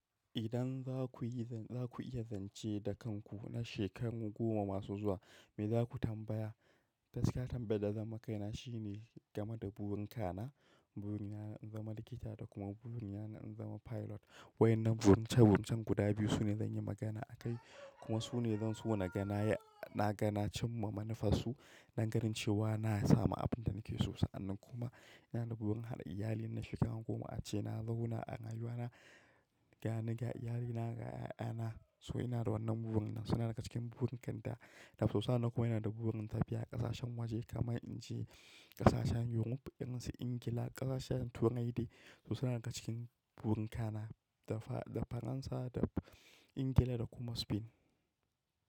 Idan za ku yi zan, za ku iya zance da kanku na shekaru goma masu zuwa, me za ku tambaya? Gaskiya tambayar da zan yi ma kaina shine game da burin ka na, burin na in zama likita da kuma burin na in zama pilot. Waƴannan burince burincen guda biyu su ne zan yi magana a kai kuma su ne zan so na ga na yi, na ga na cimma manufarsu dan ganin cewa na samu abin da nake so. Sa'an nan kuma yana da burin haɗa iyali na shekara goma a ce na zauna a rayuwa na ga ni, ga iyalina, ga ƴaƴana. So ina da wannan burin nan suna daga cikin burin kan da. So sa'annan kuma ina da burin tafiya ƙasashen waje kaman in ce ƙasashen Europe irin su Ingila, ƙasashen Turai de su suna daga cikin burin ka na, da Faransa da Ingila da kuma Spain.